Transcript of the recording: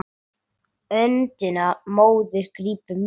Öndina móðir grípum við.